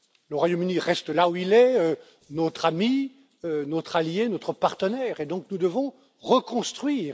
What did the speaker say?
là. Le Royaume Uni reste là où il est, notre ami, notre allié, notre partenaire et donc nous devons reconstruire.